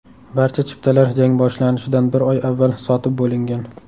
Barcha chiptalar jang boshlanishidan bir oy avval sotib bo‘lingan.